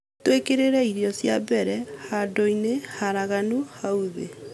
Twĩkĩrĩre irio cia mbere handũ-inĩ haraganu hau thĩ.